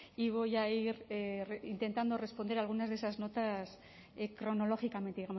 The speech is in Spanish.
y voy a ir intentando responder a algunas de esas notas cronológicamente